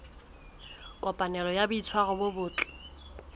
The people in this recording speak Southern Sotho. kopanelo ya boitshwaro bo botle